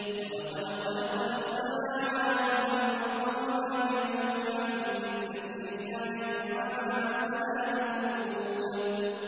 وَلَقَدْ خَلَقْنَا السَّمَاوَاتِ وَالْأَرْضَ وَمَا بَيْنَهُمَا فِي سِتَّةِ أَيَّامٍ وَمَا مَسَّنَا مِن لُّغُوبٍ